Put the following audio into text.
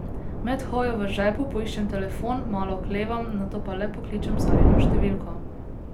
Med hojo v žepu poiščem telefon, malo oklevam, nato pa le pokličem Sarino številko.